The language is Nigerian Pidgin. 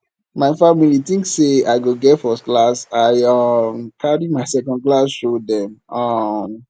my family tink sey i go get firstclass i um don carry my secondclass show dem um